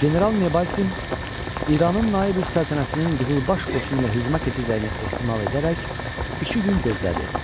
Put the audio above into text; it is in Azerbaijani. General Nebalsin İranın Naib-üs-Səltənəsinin Qızılbaş qoşunu ilə hücuma keçəcəyini ehtimal edərək iki gün gözlədi.